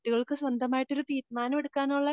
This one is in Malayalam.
കുട്ടികൾക്ക് സ്വന്തമായിട്ടൊരു തീരുമാനമെടുക്കാനുള്ള